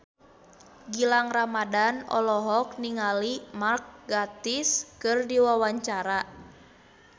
Gilang Ramadan olohok ningali Mark Gatiss keur diwawancara